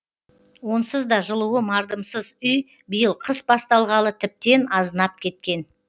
онсыз да жылуы мардымсыз үй биыл қыс басталғалы тіптен азынап кеткен